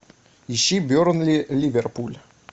ищи бернли ливерпуль